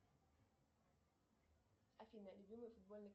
афина любимый футбольный